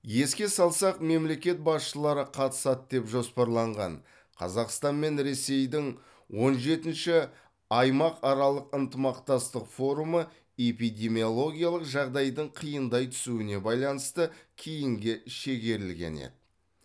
еске салсақ мемлекет басшылары қатысады деп жоспарланған қазақстан мен ресейдің он жетінші аймақаралық ынтымақтастық форумы эпидемиологиялық жағдайдың қиындай түсуіне байланысты кейінге шегерілген еді